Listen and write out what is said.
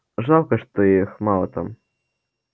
жалко что их мало там